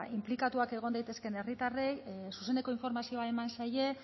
inplikatuak egon daitezkeen herritarrei zuzeneko informazioa eman zaie